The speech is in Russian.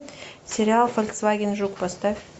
сериал фольксваген жук поставь